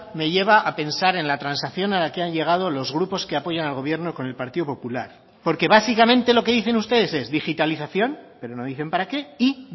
me lleva a pensar en la transacción a la que han llegado los grupos que apoyan al gobierno con el partido popular porque básicamente lo que dicen ustedes es digitalización pero no dicen para qué y